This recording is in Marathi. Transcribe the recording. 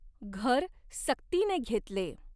घर सक्तीने घेतले।